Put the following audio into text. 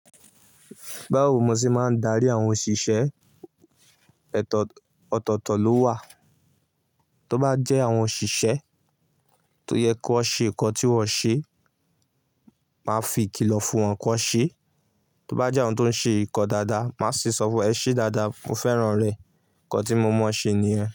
Bawo mo ṣe máa ń darí àwọn òṣìṣẹ́? Ọ̀tọ̀ ọ̀tọ̀ọ̀tọ̀ ló wà. Tó bá jẹ́ àwọn òṣìṣẹ́ tó yẹ kó ṣe nǹkan tí wọ́n ṣe, màá fi ìkìlọ̀ fún wọn kó ṣe. Tóbá jẹ́ ohun tó ń ṣe nǹkan dáadáa, màá sì sọ fún ẹ ṣe dáadáa, mo fẹ́ràn rẹ. Ǹkan tí mo mọ ṣe ni yẹ́n.